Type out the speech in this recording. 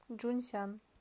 чжунсян